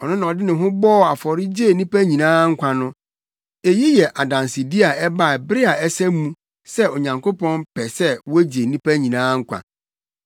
Ɔno na ɔde ne ho bɔɔ afɔre gyee nnipa nyinaa nkwa no. Eyi yɛ adansedi a ɛbaa bere a ɛsɛ mu sɛ Onyankopɔn pɛ sɛ wogye nnipa nyinaa nkwa.